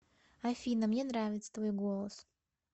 афина мне нравится твой голос